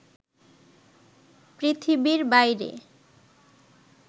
পৃথিবীর বাইরে